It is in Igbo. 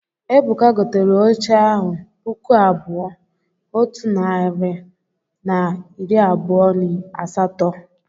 Ebuka bought the chair two thousand one hundred and twenty eight naira only.